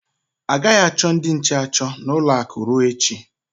A gaghị achọ ndị nche achọ n'ụlọ akụ ruo echi.